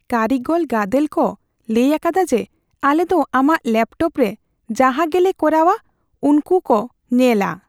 ᱠᱟᱹᱨᱤᱜᱚᱞ ᱜᱟᱫᱮᱞ ᱠᱚ ᱞᱟᱹᱭ ᱟᱠᱟᱫᱟ ᱡᱮ, ᱟᱞᱮ ᱫᱚ ᱟᱢᱟᱜ ᱞᱮᱯᱴᱚᱯ ᱨᱮ ᱡᱟᱦᱟᱸ ᱜᱮᱞᱮ ᱠᱚᱨᱟᱣᱼᱟ ᱩᱝᱠᱩ ᱠᱚ ᱧᱮᱞᱼᱟ ᱾